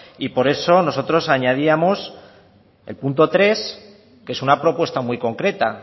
y por eso nosotros añadíamos el punto tres que es una propuesta muy concreta